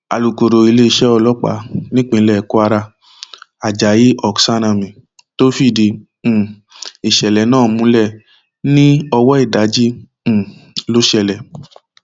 alūkọrọ iléeṣẹ ọlọpàá nípínlẹ kwara ajayi oksanami tó fìdí um ìṣẹlẹ náà múlẹ ní ọwọ ìdájí um ló ṣẹlẹ